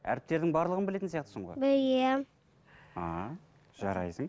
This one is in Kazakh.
әріптердің барлығын білетін сияқтысың ғой білемін ааа жарайсың